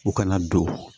U kana don